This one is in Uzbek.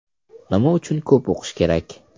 Nima uchun ko‘p o‘qish kerak?